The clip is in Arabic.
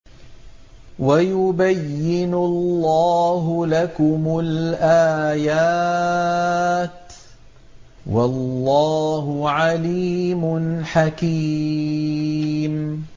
وَيُبَيِّنُ اللَّهُ لَكُمُ الْآيَاتِ ۚ وَاللَّهُ عَلِيمٌ حَكِيمٌ